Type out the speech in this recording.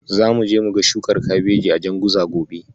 Zamuje muga shukar Kabeji a Janguza gobe.